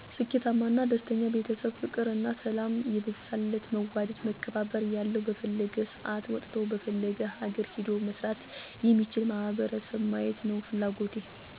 ስኬታማ እና ደስተኛ ቤተሰብ ፍቅር እና ሰላም የበዛለት መዋደድ መከባበር ያለዉ በፈለገዉ ሰአት ወጥቶ በፈለገዉ ሀገር ሄዶ መስራት የሚችል ማህበረሰብ ማየት ነዉ ፍላጎቴ።